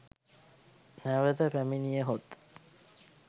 නැවත පැමිණියහොත්